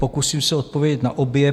Pokusím se odpovědět na obě.